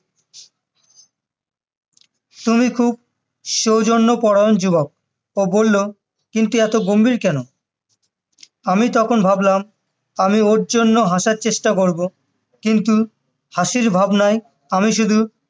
তুমি খুব সৌজন্যপরায়ণ যুবক ও বললো কিন্তু এত গম্ভীর কেন আমি তখন বললাম আমি ওর জন্য হাঁসার চেষ্টা করবো কিন্ত হাঁসির ভাবনায় আমি শুধু